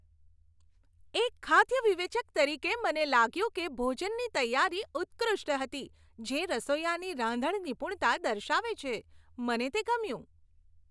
એક ખાદ્ય વિવેચક તરીકે, મને લાગ્યું કે ભોજનની તૈયારી ઉત્કૃષ્ટ હતી, જે રસોઇયાની રાંધણ નિપુણતા દર્શાવે છે. મને તે ગમ્યું.